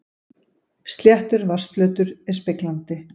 Sléttur vatnsflötur er speglandi.